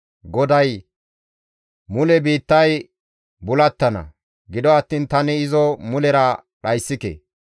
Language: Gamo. GODAY, «Mule biittay bulattana; gido attiin tani izo mulera dhayssike.